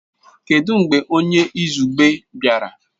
Kedu mgbe onye izugbe bịara?